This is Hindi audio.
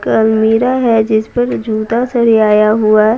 एक अल्मिरा है जिस पर जूता सरियाया हुआ--